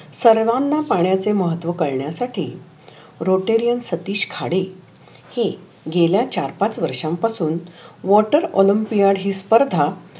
सर्वाना पण्याचे महत्व कळण्यासाठी रोटेरियन सतीश खाडे हे गेल्या चार पाच वर्षा पासुन वॉटर ऑलमपीक पिणारी स्पर्धा